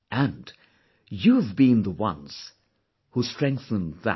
And, you have been the ones who strengthened that